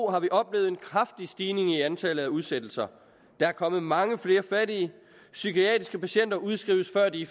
har vi oplevet en kraftig stigning i antallet af udsættelser der er kommet mange flere fattige psykiatriske patienter udskrives før de